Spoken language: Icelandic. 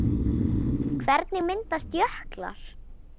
Hvernig myndast jöklar?